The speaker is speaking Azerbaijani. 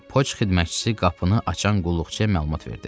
deyə poçt xidmətçisi qapını açan qulluqçuya məlumat verdi.